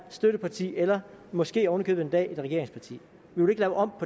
støtteparti eller måske oven i købet en dag regeringsparti vi vil ikke lave om